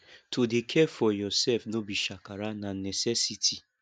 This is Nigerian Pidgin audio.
to dey care for yoursef no be shakara na necessity